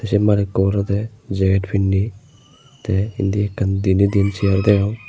sei malikko urodey jaget pinney tey indi ekkan diney diyen seyar degong.